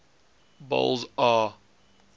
boles aw